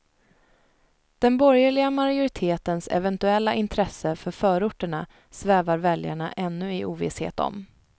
Den borgerliga majoritetens eventuella intresse för förorterna svävar väljarna ännu i ovisshet om.